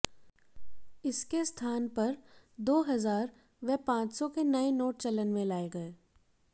इसके स्थान पर दो हजार व पांच सौ के नए नोट चलन में लाए गए